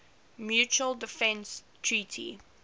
mutual defense treaty